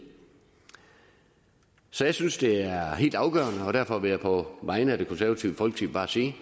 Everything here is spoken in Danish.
så jeg synes det er helt afgørende og derfor vil jeg på vegne af det konservative folkeparti